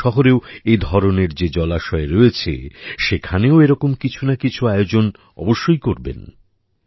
আপনাদের শহরেও এ ধরনের যে জলাশয় রয়েছে সেখানেও এরকম কিছু না কিছু আয়োজন অবশ্যই করবেন